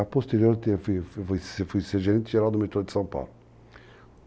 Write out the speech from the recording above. A posterior eu fui ser gerente geral do metrô de São Paulo.